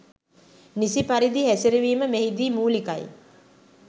නිසි පරිදි හැසිරවීම මෙහිදී මූලිකයි